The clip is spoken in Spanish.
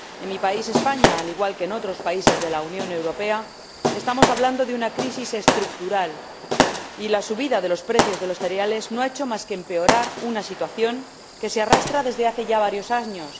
En mi país, España, al igual que en otros países de la Unión Europea, estamos hablando de una crisis estructural y la subida de los precios de los cereales no ha hecho más que empeorar una situación que se arrastra desde hace ya varios años.